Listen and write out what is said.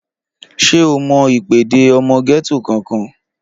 Ṣé o mọ ìpèdè ọmọ gẹ́tò kankan?